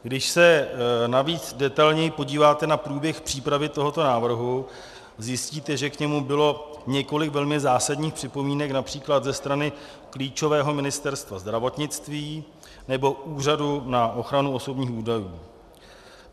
Když se navíc detailněji podíváte na průběh přípravy tohoto návrhu, zjistíte, že k němu bylo několik velmi zásadních připomínek například ze strany klíčového Ministerstva zdravotnictví nebo Úřadu na ochranu osobních údajů.